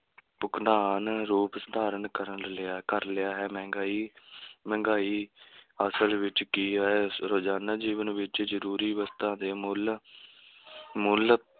ਰੂਪ ਧਾਰਨ ਕਰਨ ਲਿਆ ਕਰ ਲਿਆ ਹੈ, ਮਹਿੰਗਾਈ ਮਹਿੰਗਾਈ ਅਸਲ ਵਿੱਚ ਕੀ ਹੈ, ਰੋਜ਼ਾਨਾ ਜੀਵਨ ਵਿੱਚ ਜ਼ਰੂਰੀ ਵਸਤਾਂ ਦੇ ਮੁੱਲ ਮੁੱਲ